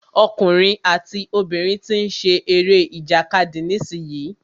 Ọkùnrin àti obìnrin tí ń ṣe eré ìjàkadì nísìyí.